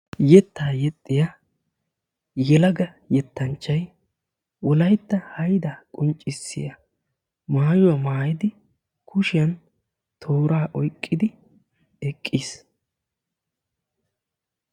Yettaa yexxiya yelaga yettanchchay Wolaytta haydaa qonccissiya maayyuwa maayyid kushiyan toora oyqqidi eqqiis.